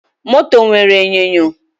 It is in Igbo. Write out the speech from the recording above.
Moto nwere enyonyo